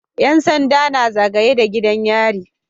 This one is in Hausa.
Yan sanda na zagaye da gidan yari